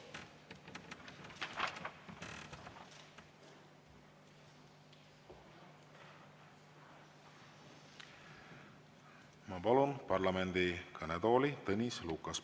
Ma palun parlamendi kõnetooli Tõnis Lukase.